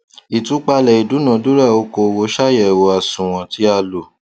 ìtúpalẹ ìdúnadúrà okòwò ṣàyẹwò àsunwon tí a lò